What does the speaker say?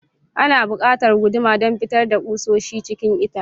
Ana buƙatar guduma don fitar da kusoshi cikin itace.